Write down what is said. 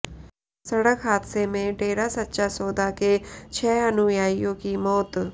सड़क हादसे में डेरा सच्चा सौदा के छह अनुयायियों की मौत